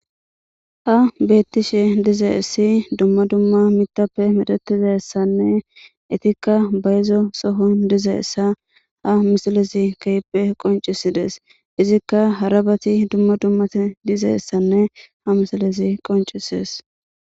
Tas betishe dizayssi dumma dumma miththappe medhetizayssanne Ettikka bayzo sohon dizayssa ha missilezi keehipe qonccisidees.izikka harabati dumma dummati dizayssanne ha missilezi qonccisees.